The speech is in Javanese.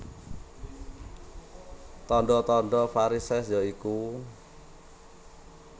Tandha tandha varisès ya iku